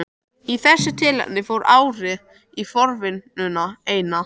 Í þessu tilfelli fór árið í forvinnuna eina.